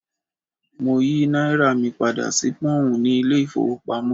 Mo yí náírà mi padà sí Pọ́ǹ nínú ilé ìfowópamọ́.